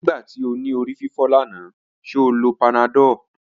Nigbati o ni orififo lana, ṣe o lo panadol?